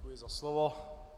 Děkuji za slovo.